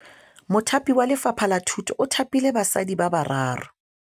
Mothapi wa Lefapha la Thutô o thapile basadi ba ba raro.